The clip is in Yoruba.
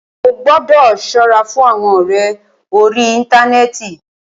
Ó gbọ́dọ̀ ṣọ́ra fún àwọn ọ̀rẹ orí íntanẹ́ẹ̀ti.